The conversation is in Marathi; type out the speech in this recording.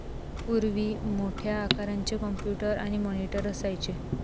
पूर्वी मोठ्या आकारांचे कॉम्प्युटर आणि मॉनिटर असायचे